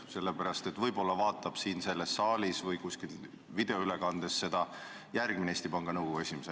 Võib-olla jälgib toimuvat siin selles saalis istudes või videoülekannet vaadates mõni tulevane Eesti Panga Nõukogu esimees.